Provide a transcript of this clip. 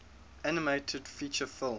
animated feature film